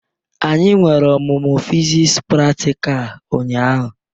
Anyị nwere omumu fiziks pratikal ụnyaahụ.